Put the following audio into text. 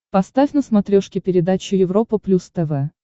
поставь на смотрешке передачу европа плюс тв